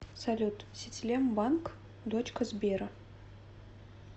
салют сетелем банк дочка сбера